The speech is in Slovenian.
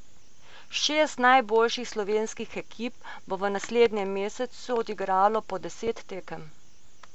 Šest najboljših slovenskih ekip bo v naslednjem mesecu odigralo po deset tekem.